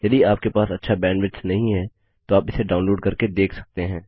यदि आपके पास अच्छा बैंडविड्थ नहीं है तो आप इसे डाउनलोड करके देख सकते हैं